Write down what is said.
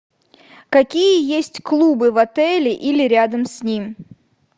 какие есть клубы в отеле или рядом с ним